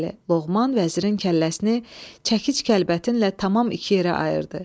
Bəli, Loğman vəzirin kəlləsini çəkic-kəlbətinlə tamam iki yerə ayırdı.